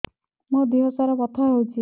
ମୋ ଦିହସାରା ବଥା ହଉଚି